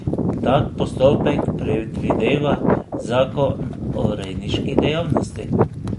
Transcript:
Tak postopek predvideva zakon o rejniški dejavnosti.